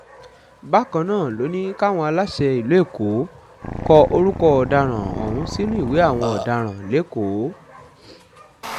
bákan náà ló ní káwọn aláṣẹ ìlú èkó kọ orúkọ ọ̀daràn ọ̀hún sínú ìwé àwọn ọ̀daràn lẹ́kọ̀ọ́